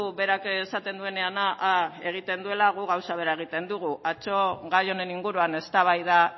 berak esaten duenean a a egiten duela gu gauza bera egiten dugu atzo gai honen inguruan eztabaida